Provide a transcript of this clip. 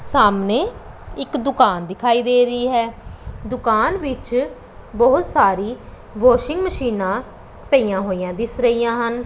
ਸਾਹਮਣੇ ਇੱਕ ਦੁਕਾਨ ਦਿਖਾਈ ਦੇ ਰਹੀ ਹੈ ਦੁਕਾਨ ਵਿੱਚ ਬਹੁਤ ਸਾਰੀ ਵਾਸ਼ਿੰਗ ਮਸ਼ੀਨਾਂ ਪਈਆਂ ਹੋਈਆਂ ਦਿੱਸ ਰਹੀਆਂ ਹਨ।